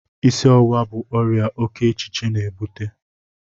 Isi ọwụwa bu ọrịa oke echiche na-ebute